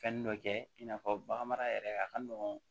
Fɛn dɔ kɛ in n'a fɔ baganmara yɛrɛ a ka nɔgɔn